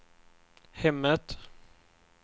hemmet